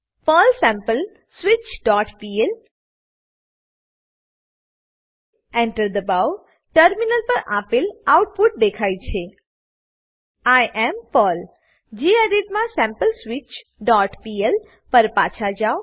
Perl sampleswitchપીએલ Enter enter દબાવો terminal પર આપેલ આઉટપુટ દેખાય છે આઇ એએમ પર્લ ગેડિટ માં sampleswitchપીએલ પર પાછા જાવ